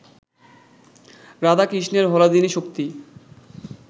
রাধা কৃষ্ণের হলাদিনী শক্তি